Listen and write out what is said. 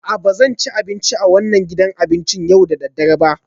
A'a, ba zan ci abinci a wannan gidan abincin yau da dare ba